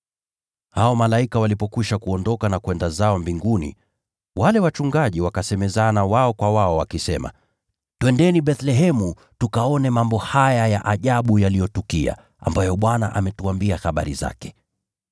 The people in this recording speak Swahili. Hao malaika walipokwisha kuondoka na kwenda zao mbinguni, wale wachungaji wakasemezana wao kwa wao, “Twendeni Bethlehemu tukaone mambo haya ya ajabu yaliyotukia, ambayo Bwana ametuambia habari zake.”